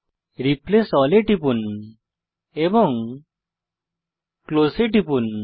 replace all এ টিপুন এবং ক্লোজ এ টিপুন